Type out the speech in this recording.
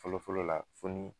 Fɔlɔfɔlɔ la fo ni